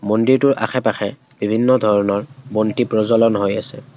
মন্দিৰটোৰ আশে পাশে বিভিন্ন ধৰণৰ বন্তি প্ৰজ্বলন হৈ আছে।